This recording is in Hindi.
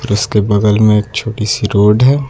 जिसके बगल में एक छोटी सी रोड है।